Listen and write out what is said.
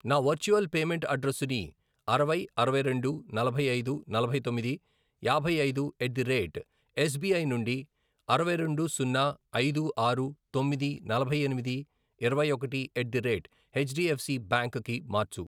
నా virtual payment అడ్రెస్సుని అరవై, అరవై రెండు, నలభై ఐదు, నలభై తొమ్మిది, యాభై ఐదు, ఎట్ ది రేట్ ఎస్బిఐ నుండి అరవై రెండు, సున్నా, ఐదు, ఆరు, తొమ్మిది, నలభై ఎనిమిది, ఇరవై ఒకటి, at the rate H DF C bank కి మార్చు.